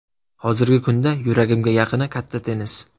Hozirgi kunda yuragimga yaqini katta tennis.